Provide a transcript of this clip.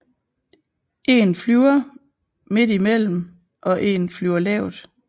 En flyver midt i mellem og en flyver lavt